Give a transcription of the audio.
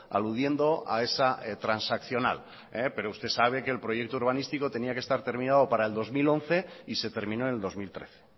aludiendo a esa transaccional pero usted sabe que el proyecto urbanístico tenía que estar terminado para el dos mil once y se terminó en el dos mil trece